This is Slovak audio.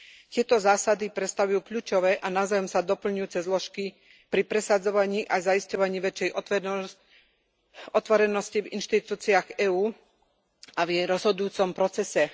Tieto zásady predstavujú kľúčové a navzájom sa doplňujúce zložky pri presadzovaní a zaisťovaní väčšej otvorenosti v inštitúciách EÚ a v jej rozhodujúcom procese.